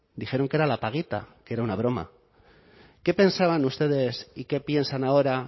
dijeron que era la paguita que era una broma qué pensaban ustedes y qué piensan ahora